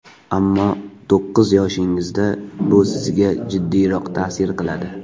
Ammo to‘qqiz yoshingizda, bu sizga jiddiyroq ta’sir qiladi.